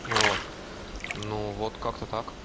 ну вот ну вот как-то так